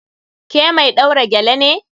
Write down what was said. Ke mai ɗaura gele ne?